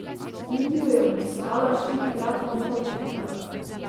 Indijo je obiskala štirikrat, Nepal trikrat.